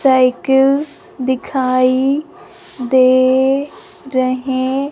cycle दिखाई दे रहे--